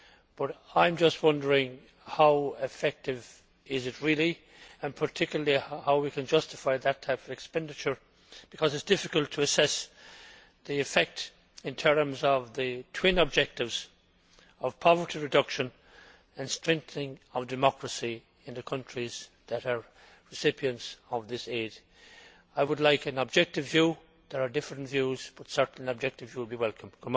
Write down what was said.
But I am just wondering how effective it really is and, particularly, how we can justify that type of expenditure, because it is difficult to assess the effect in terms of the twin objectives of poverty reduction and the strengthening of democracy in the countries that are recipients of this aid. I would like an objective view. There are different views but certainly an objective view would be welcome.